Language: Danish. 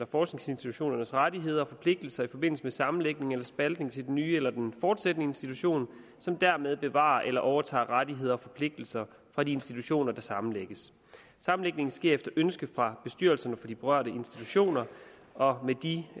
forskningsinstitutionernes rettigheder og forpligtelser i forbindelse med sammenlægning eller spaltning til den nye eller den fortsættende institution som dermed bevarer eller overtager rettigheder og forpligtelser fra de institutioner der sammenlægges sammenlægning sker efter ønske fra bestyrelserne for de berørte institutioner og med de